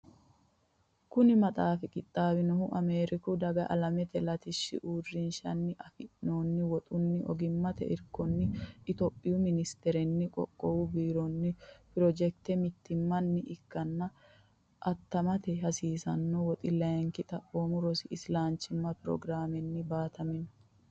Kuni maxaafi qixxaawinohu Ameeriku Daga Alamete Latishshi Uurrinshanni afi noonni woxunna ogimmate irkonni Itophiyu Ministerenni Qoqqowu Biironna projekte mittimmanni ikkanna attamate hasiisanno woxi layinki xaphoomu rosi isilanchimma prograamenni baatamino.